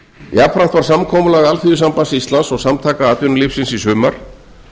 jafnframt var samkomulag alþýðusambands íslands og samtaka atvinnulífsins í sumar